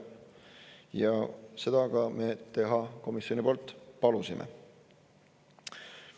Ja seda ka me teha komisjoni poolt palusime.